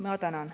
Ma tänan!